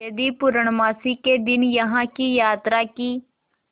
यदि पूर्णमासी के दिन यहाँ की यात्रा की